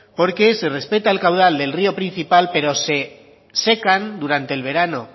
porque se respeta el caudal del río principal pero se secan durante el verano